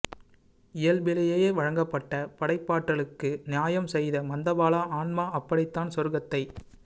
இயல்பிலேயே வழங்கப்பட்ட படைப்பாற்றலுக்கு நியாயம் செய்த மந்தபால ஆன்மா அப்படித்தான் சொர்க்கத்தைச்